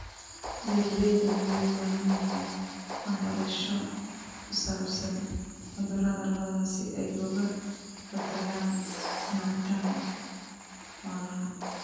Beeraleydu waxay u baahan yihiin waxbarasho ku saabsan cudurrada lo'da si ay uga hortagaan luminta xoolaha.